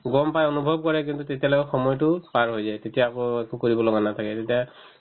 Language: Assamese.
গম পাই অনুভৱ কৰে কিন্তু তেতিয়ালৈকে সময়তো পাৰ হৈ যায় তেতিয়া আকৌ একো কৰিব লগা নাথাকে তেতিয়া